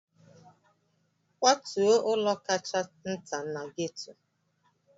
Kwatuo ụlọ kacha nta na gétò